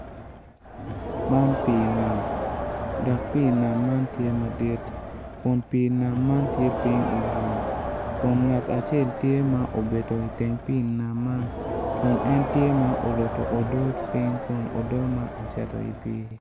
Man pi nam dok pi nam man tye madit kun pii nam man tye ping i bur kun ngat acel tye ma ocung iteng pi nam man kun en tye ma oruto odot ping kun odot ma ocito wa idi pi.